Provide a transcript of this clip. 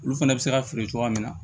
Olu fɛnɛ bɛ se ka feere cogoya min na